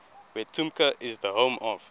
wetumpka is the home of